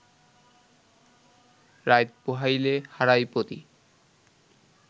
রাইত পুহাইলে হারায় পতি